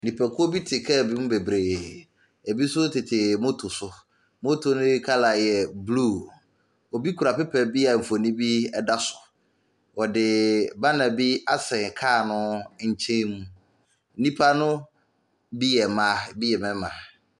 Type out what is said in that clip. Nnipakuo bi te car bi mu bebree. Ebi nso tete motor so. Motor no kala yɛ blue. Obi kura paper bi a mfoni bi da so. Wɔde bbanner bi asɛn kar no nkyenmu. Nnipa no bi yɛ mmaa, bi yɛ mmarima.